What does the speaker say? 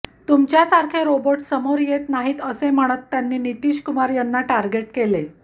तुमच्यासारखे robot समोर येत नाहीत असे म्हणत त्यांनी नितीशकुमार यांना टार्गेट केले